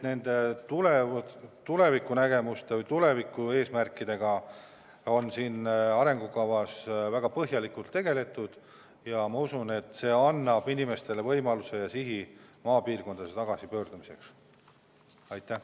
Nende tulevikunägemuste või tulevikueesmärkidega on arengukava koostades väga põhjalikult tegeletud ja ma usun, et see annab inimestele võimaluse ja sihi maale elama minna.